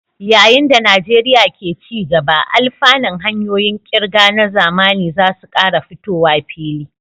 Yayin da Najeriya ke ci gaba, alfanun hanyoyin ƙirga na zamani za su ƙara fitowa fili.